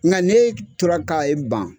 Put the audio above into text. Nka ne tora ka i ban